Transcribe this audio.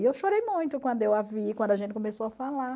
E eu chorei muito quando eu a vi, quando a gente começou a falar.